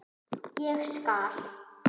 Ég skal.